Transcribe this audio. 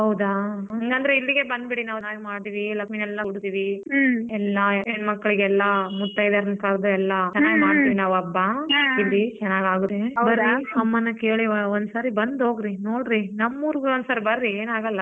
ಹೌದಾ ಇಲ್ಲಾಂದ್ರೆ ಇಲ್ಲಿಗೆ ಬಂದ್ಬಿಡಿ ನಾವ್ ನಾಳೆ ಮಾಡ್ತೀವಿ ಏಲಕ್ಕಿನೆಲ್ಲ ಉರಿತಿವಿ ಎಲ್ಲ ಹೆಣ್ಮಕ್ಳ್ಗೆಲ್ಲ ಮುತ್ತೈದೆರ್ ಕರ್ದು ಎಲ್ಲ ಚೆನ್ನಾಗ್ ಮಾಡ್ತೀವಿ ನಾವು ಹಬ್ಬ ಇಲ್ಲಿ ಚೆನ್ನಾಗ್ ಆಗುತ್ತೆ ಬರ್ರಿ ಅಮ್ಮನ್ನ ಕೇಳಿ ಒನ್ಸಾರಿ ಬಂದ್ ಹೋಗ್ರಿ ನೋಡ್ರಿ ನಮ್ಮ್ ಊರ್ಗ್ ಒನ್ಸಾರಿ ಬರ್ರಿ ಏನಾಗಲ್ಲ.